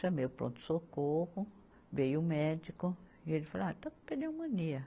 Chamei o pronto-socorro, veio o médico e ele falou, ah está com pneumonia.